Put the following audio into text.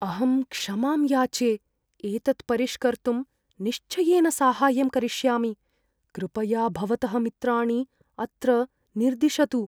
अहं क्षमां याचे, एतत् परिष्कर्तुं निश्चयेन साहाय्यं करिष्यामि। कृपया भवतः मित्राणि अत्र निर्दिशतु।